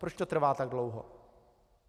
Proč to trvá tak dlouho?